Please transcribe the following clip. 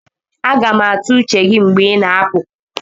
Aga m atụ uche gị mgbe ị na-apụ